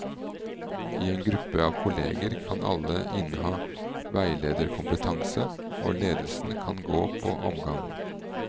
I en gruppe av kolleger kan alle inneha veilederkompetanse, og ledelsen kan gå på omgang.